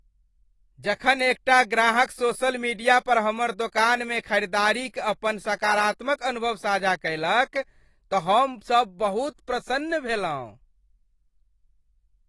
जखन एकटा ग्राहक सोशल मीडिया पर हमर दोकानमे खरीदारीक अपन सकारात्मक अनुभव साझा कयलक तऽ हमसभ बहुत प्रसन्न भेलहुँ।